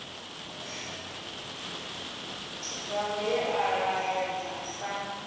mbalo ye a ṱahedza sa